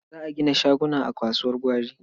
Za a gina shaguna a kasuwar gwari.